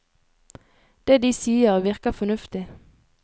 Det de sier, virker fornuftig.